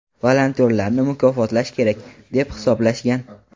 Volontyorlarni mukofotlash kerak deb hisoblashgan.